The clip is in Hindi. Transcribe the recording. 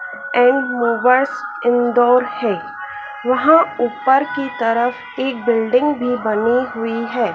ऐन्ड मूव अस इंदौर हैं वहाँ ऊपर की तरफ एक बिल्डिंग भीं बनी हुई हैं।